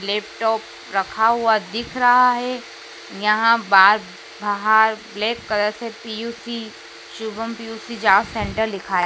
Laptop रखा हुआ दिख रहा है यहां बार बाहर रेड कलर से पी_यू_सी शुभम पी_यू_सी जार सेंटर लिखा है।